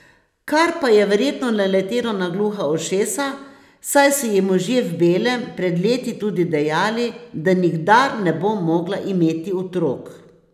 Kar pa je verjetno naletelo na gluha ušesa, saj so ji možje v belem pred leti tudi dejali, da nikdar ne bo mogla imeti otrok.